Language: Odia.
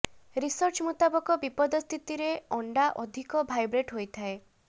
ରିସର୍ଚ୍ଚ ମୁତାବକ ବିପଦ ସ୍ଥିତିରେ ଅଣ୍ଡା ଅଧିକ ଭାଇବ୍ରେଟ ହୋଇଥାଏ